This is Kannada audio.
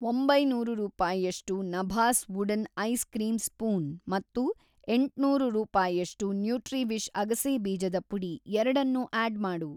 ಒಂಬೈನೂರು ರೂಪಾಯಷ್ಟು ನಭಾಸ್ ವುಡನ್‌ ಐಸ್‌ ಕ್ರೀಂ ಸ್ಪೂನ್ ಮತ್ತು ಎಂಟ್ನೂರು ರೂಪಾಯಷ್ಟು ನ್ಯೂಟ್ರಿವಿಷ್ ಅಗಸೆ ಬೀಜದ ಪುಡಿ ಎರಡನ್ನೂ ಆಡ್‌ ಮಾಡು.